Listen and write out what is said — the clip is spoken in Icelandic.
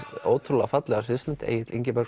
ótrúlega fallega sviðsmynd Egill